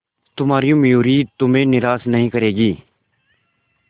तुम्हारी मयूरी तुम्हें निराश नहीं करेगी